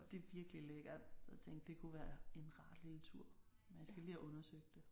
Det er virkelig lækkert så jeg tænkte det kunne være en rar lille tur men jeg skal lige have undersøgt det